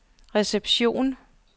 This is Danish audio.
reception